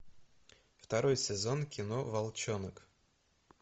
второй сезон кино волчонок